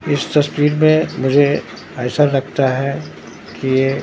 इस तस्वीर में मुझे ऐसा लगता है कि ये--